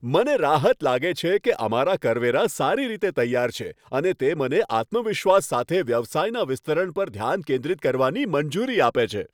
મને રાહત લાગે છે કે અમારા કરવેરા સારી રીતે તૈયાર છે અને તે મને આત્મવિશ્વાસ સાથે વ્યવસાયના વિસ્તરણ પર ધ્યાન કેન્દ્રિત કરવાની મંજૂરી આપે છે.